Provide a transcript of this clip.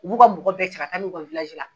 U b'u ka mɔgɔ bɛɛ cɛ ka taa n'u ye u ka la.